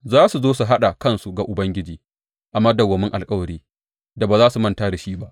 Za su zo su haɗa kansu ga Ubangiji a madawwamin alkawari da ba za a manta da shi ba.